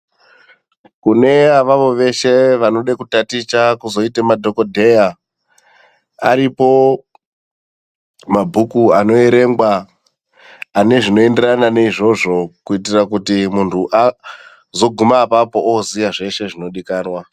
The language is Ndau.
Kune avavo veshe vanoda kutaticha vozoite madhogodheya aripo mabhuku anovherengwa ane zvinoenderana neizvozvo. Kuitira kuti muntu azoguma apapo aziya zveshe zvinodikanwa.